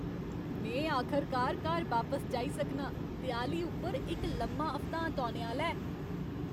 में आखरकार घर बापस जाई सकनां। देआली उप्पर इक लम्मा हफ्तांत औने आह्ला ऐ।